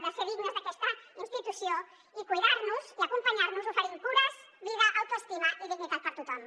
que ser dignes d’aquesta institució i cuidar nos i acompanyar nos oferint cures vida autoestima i dignitat per a tothom